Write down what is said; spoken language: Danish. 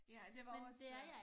Ja det var også